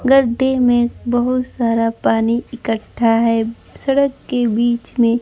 गड्ढे में बहोत सारा पानी इक्कठा है सड़क के बीच में--